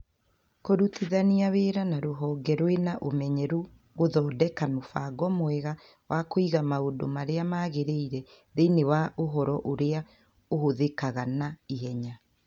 Kũrutithania wĩra na rũhonge rũna ũmenyeru gũthondeka mũbango mwega wa kũiga maũndũ marĩa magĩrĩire thĩinĩ wa ũhoro ũrĩa ũhũthĩkaga na ihenya